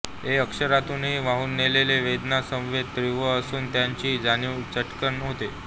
ए अक्षतंतूनी वाहून नेलेले वेदना संवेद तीव्र असून त्यांची जाणीव चटकन होते